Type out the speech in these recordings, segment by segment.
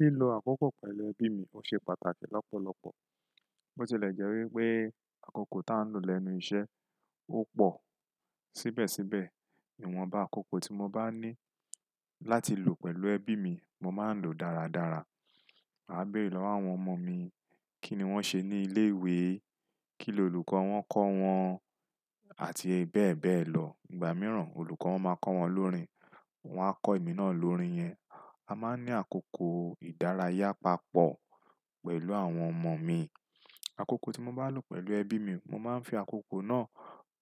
Lílo àkókò pẹ̀lú ẹbí mi ṣe pàtàkì lọ́pọ̀lọpọ̀. Bó tilẹ̀ jẹ́ wípé àkókò tá n lọ lẹ́nu iṣẹ́ ó pọ̀ síbẹ̀síbẹ̀, íwọn ba àkókò tí mo bá ní láti lò pẹ̀lú ẹbí mi, mo máa ń lò dáradára. Màá béèrè lọ́wọ́ àwọn ọmọ mi kíni wón ṣe ní ilé ìwé, kíni olùkọ́ wọn kọ wọn àti bẹ́ẹ̀ bẹ́ẹ̀ lọ. Ìgbà mìíràn olùkọ́ wọn máa kọ wọn lórín, wọn a kọ èmi náà lórín yẹn. A máa ń ní àkókò ìdárayá papọ̀ pẹ̀lú àwọn ọmọ mi. Àkókò tí mo bá lò pẹ̀lú ẹbí mi, mo máa ń fi àkókò náà,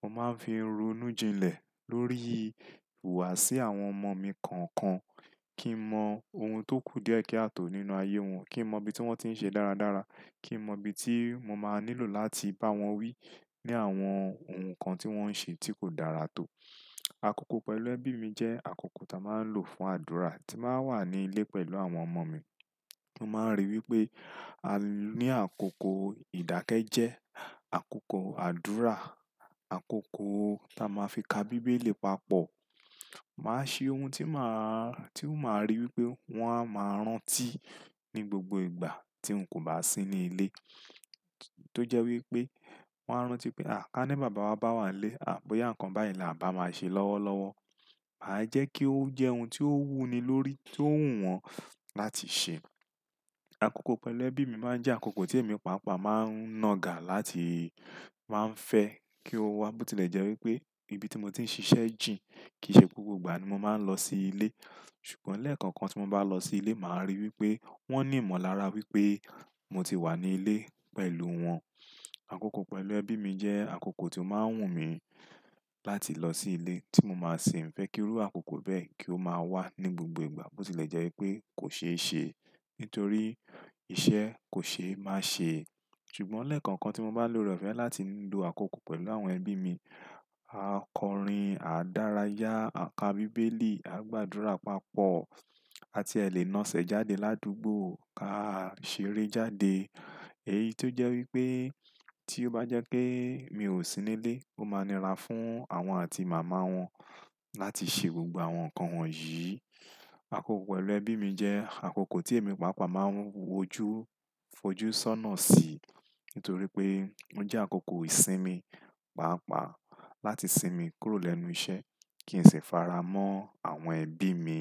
mo máa ń fi runú jinlẹ̀ lórí ìhùwàsí àwọn ọmọ mi kọ̀ọ̀kan kí n mọ ohun tó kù díẹ̀ kí a tòó nínú ayé wọn, kí n mọ ibi tí wọ́n ti ń ṣe dáradára, kí n mọ ibi tí mo máa nílò láti bá wọn wí ní àwọn ohun kan tí wọ́n ń ṣe tí kò dára tó. Àkókò pẹ̀lú ẹbí mi jẹ́ àkókò táa máa ń lò fún àdúrà tí báa ń wà ní ilé pẹ̀lú àwọn ọmọ mi. Mo máa ń rí wípé a ní àkókò ìdákẹ́jẹ́, àkókò àdúrà, àkókò táa máa fi ka bíbélì papọ̀. Màá ṣe ohun tí máa, tí máa rí wípé wọ́n á máa ń rántí ní gbogbo ìgbà tí n kò bá sí ní ilé tó jẹ́ wípé wọ́n á rántí pé à ká ní bàbá wa bá wà ní ilé, à bóyá ǹkan báyìí ni a bá máa ṣe lọ́wọ́lọ́wọ́. Àì jẹ́ kí ó jẹ́ ohun tí ó wú ni lórí, tí ó wù wọ́n láti ṣe. Àkókò pẹ̀lú ẹbí mi máa ń jẹ́ àkókò tí èmi pàápàá máa ń nọ̀gà láti, máa ń fẹ́ kí ó wá. Bó tilẹ̀ jẹ́ wípé ibi tí mo ti ń ṣiṣẹ́ jìn, kìí ṣe gbogbo ìgbà ni mo máa ń lọ sí ilé. Ṣùgbọ́n lẹ́ẹ̀kon kan tí mo bá lọ sí ilé, màá rí wípé wón ní ìmọ̀lára wípé mo ti wà ní ilé pẹ̀lú wọn. Àkókò pẹ̀lú ẹbí mi jẹ́ àkókò tí ó máa ń wù mí láti lọ sí ilé tí mo máa ṣin fẹ́ kí irú àkókò bẹ́ẹ̀ kí ó máa wà ní gbogbo ìgbà bó tilẹ̀ jẹ́ wípé kò ṣe é ṣe nítorí iṣẹ́ kò ṣe é máa ṣe. Ṣùgbọ́n lẹ́ẹ̀kon kan tí mo bá lọre ofẹ́ láti lo àkókò pẹ̀lú àwọn ẹbí mi, a kọrin, à dárayá, à ka bíbélì, à gbadura papọ̀ àti ẹ lè nasẹ̀ jáde ládúgbò ká ṣeré jáde èyí tó jẹ́ wípé tí ó bá jẹ́ pé mi ò sí ní ilé ó máa ni ra fún àwọn àti màmá wọn láti ṣe gbogbo àwọn ǹkan wọ̀nyí. Àkókò pẹ̀lú ẹbí mi jẹ́ àkókò tí èmi pàápàá máa ń wojú fojú sọ́nà sí nítorí pé ó jẹ́ àkókò ìsinmi pàápàá láti sinmi kúrò lẹ́nu iṣẹ́ kí n sì fara mọ́ àwọn ẹbí mi.